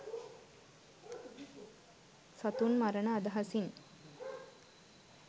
සතුන් මරණ අදහසින්